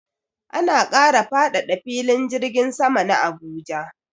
Ana kara faɗaɗa filin jirgin sama na Abuja.